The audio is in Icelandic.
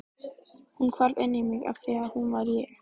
Hún hvarf inn í mig afþvíað hún var ég.